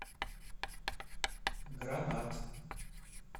гранат